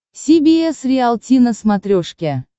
си би эс риалти на смотрешке